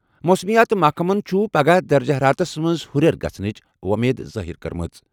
موسمیات محکمَن چھِ پگہہ درجہٕ حرارتَس منٛز ہُرٮ۪ر گژھنٕچ وۄمید ظٲہر کٔرمٕژ۔